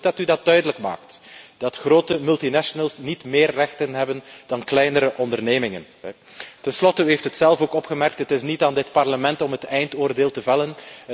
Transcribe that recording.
Het is goed dat u duidelijk maakt dat grote multinationals niet meer rechten hebben dan kleinere ondernemingen. Ten slotte u hebt het zelf ook opgemerkt is het niet aan dit Parlement om het eindoordeel te vellen.